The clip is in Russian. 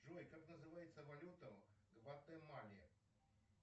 джой как называется валюта в гватемале